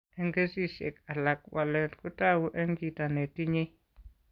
Eng' kesishek alak, walet kotou eng' chito netinye.